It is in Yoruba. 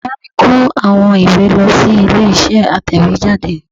Bàbá mi kó àwọn ìwé lọ sí ilé isé atẹ̀wéjáde